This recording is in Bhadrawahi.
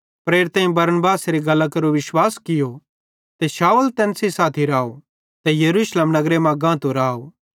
प्रेरितेईं बरनबासेरी गल्लां केरो विश्वास कियो ते शाऊल तैन सेइं साथी राव ते यरूशलेम नगरे मां गातो राव